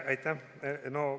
Aitäh!